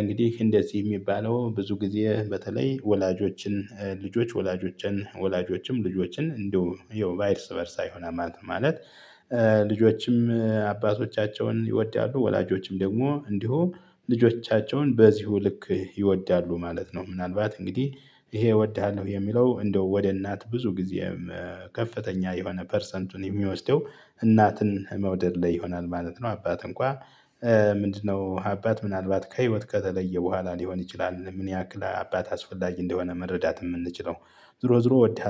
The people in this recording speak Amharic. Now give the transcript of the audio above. እንግዲህ እንደዚህ ሚባለው ብዙ ጊዜ በተለይ ወላጆችን ልጆች ወላጆችን ወላጆችም ልጆችን እንደው ይሀው እርስ በእርሳ ይሆናል ማለት ነው ማለት። ልጆችም አባቶቻቸውን ይወዳሉ ወላጆችም ደግሞ እንዲሁ ልጆቻቸውን በዚሁ ልክ ይወዳሉ ማለት ነው። ምናልባት እንግዲህ ይሄ እወድሃለሁ የሚለው እንደው ወደ እናት ብዙ ጊዜም ከፍተኛ የሆነ ፐርሰንቱን የሚወስደው እናትን መውደድ ላይ ይሆናል ማለት ነው። አባት እንኳን ምንድነው? አባት ምናልባት ከህይወት ከተለየ በኋላ ሊሆን ይችላል ምን ያክል አባት አስፈላጊ እንደሆነ መረዳት የምንችለው ዝሮ ዝሮ እወድሃል